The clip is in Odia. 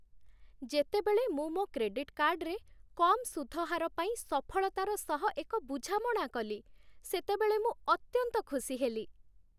ଯେତେବେଳେ ମୁଁ ମୋ କ୍ରେଡିଟ୍ କାର୍ଡରେ କମ୍ ସୁଧ ହାର ପାଇଁ ସଫଳତାର ସହ ଏକ ବୁଝାମଣା କଲି, ସେତେବେଳେ ମୁଁ ଅତ୍ୟନ୍ତ ଖୁସି ହେଲି।